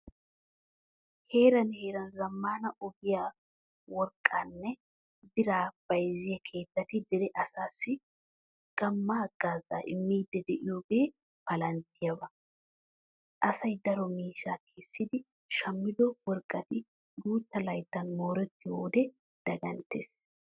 Heeran heeran zammaana ogiyan worqqaanne biraa bayzziya keettati dere asaassi gamma haggaazaa immiiddi de'iyogee palanttiyaba. Asay daro miishshaa kessidi shammido worqqati guutta layttan moorettiyo wode daganttees.